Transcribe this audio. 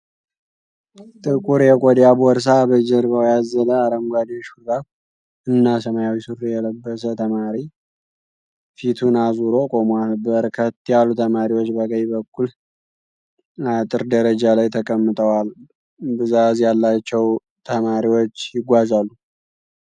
ጥቁር የቆዳ ቦርሳ በጀርባዉ ያዘለ አረንጓዴ ሹሬብ እና ሰማያዊ ሱሪ የለበሰ ተማሪ ፊቱን አዞሮ ቁሟል። በርከት ያሉ ተማሪዎች በቀኝ በኩል አጥር ደረጃ ላይ ተቀምጠዋል። ብዛዝ ያላቸዉ ተማሪዎች ይጓዛሉ።